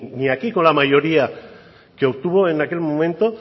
ni aquí con la mayoría que obtuvo en aquel momento